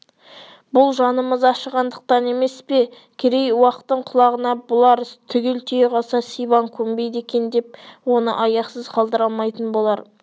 бұл жанымыз ашығандық емес пе керей уақтың құлағына бұл арыз түгел тие қалса сибан көнбейді екен деп оны аяқсыз қалдыра алмайтын болар